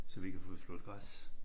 Så vi kan få slået græs